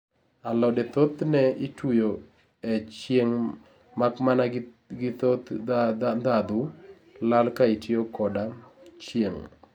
alode thoth ne ituyo e chieng makmana ni thoth ndhadhu lal ka itiyo koda chieng